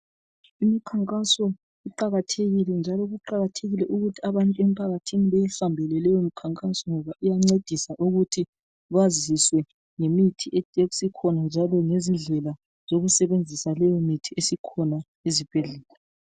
Imikhankaso iqakathekile, njalo kuqakathekile ukuthi abantu emphakathini beyihambele leyomikhankaso. Ngoba iyancedisa ukuthi baziswe ngemithi esikhona, njalo lezindlela zokusebenzisa leyomithi esikhona ezibhedlela